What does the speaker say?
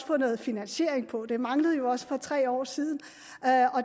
få noget finansiering på det manglede jo også for tre år siden